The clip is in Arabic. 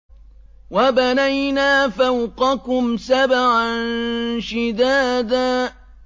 وَبَنَيْنَا فَوْقَكُمْ سَبْعًا شِدَادًا